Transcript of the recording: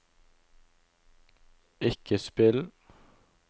ikke spill